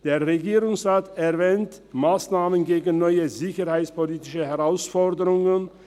Der Regierungsrat erwähnt Massnahmen gegen neue sicherheitspolitische Herausforderungen.